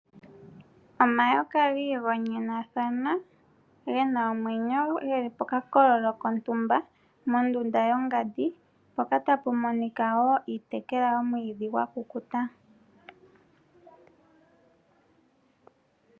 Omayoka giigonyathana gena omwenyo geli pokakolo kontumba mondunda yongandi mpoka tapu monika iitekelwa yomwiidhi gwakukuta.